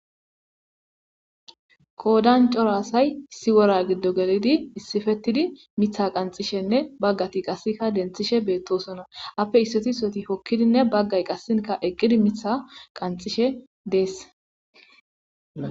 Qodan cora asay issi wora gidon gelid issipetid mitha qanxishenne Bagat qaseka denthishe betosona, ape issoti issoti hokidinne Bagay qaseka eqid Mitha qanxishe Desi.